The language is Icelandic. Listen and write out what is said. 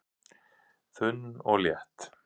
Þunn og létt